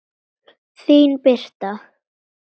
Þín Birta.